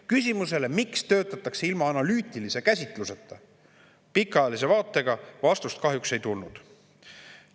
Küsimusele, miks töötatakse ilma analüütilise käsitluseta, pikaajalise vaateta, vastust kahjuks ei tulnud.